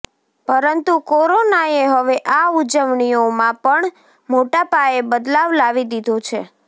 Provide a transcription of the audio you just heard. પરંતુ કોરોનાએ હવે આ ઉજવણીઓમાં પણ મોટાપાયે બદલાવ લાવી દિધો છે